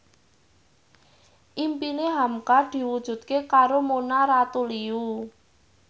impine hamka diwujudke karo Mona Ratuliu